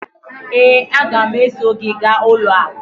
ee, a ga m eso gị gaa ụlọ akụ